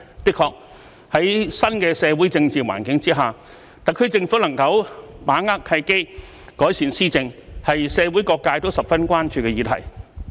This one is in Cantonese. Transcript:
的確，在新的社會政治環境之下，特區政府能否把握契機，改善施政，是社會各界都十分關注的議題。